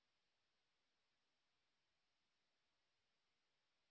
ফাইলের ওই ছবিতে ক্লিক করলে যাতে wwwgooglecom খোলে তারজন্য হাইপারলিঙ্ক বানান